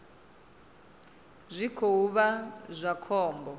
zwi khou vha zwa khombo